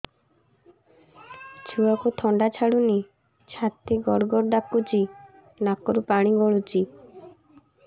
ଛୁଆକୁ ଥଣ୍ଡା ଛାଡୁନି ଛାତି ଗଡ୍ ଗଡ୍ ଡାକୁଚି ନାକରୁ ପାଣି ଗଳୁଚି